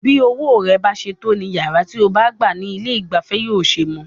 Bí owó rẹ bá ṣe tó ní iyàrá tí o bá gbá ní ilé ìgbafẹ́ yóò ṣe mọ.